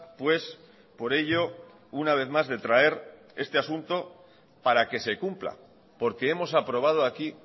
pues por ello una vez más de traer este asunto para que se cumpla porque hemos aprobado aquí